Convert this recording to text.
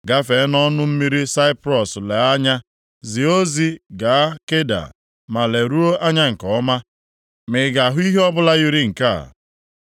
Gafee nʼọnụ mmiri Saiprọs lee anya, zie ozi gaa Keda ma leruo anya nke ọma, ma ị ga-ahụ ihe ọbụla yiri nke a.